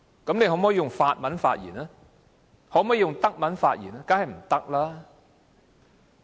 "議員可否用法文或德文發言？